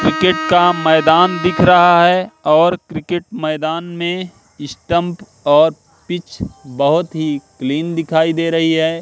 Cricket का मैदान दिख रहा है और क्रिकेट मैदान में स्टंप और पिच बोहोत ही क्लीन दिखाई दे रही है।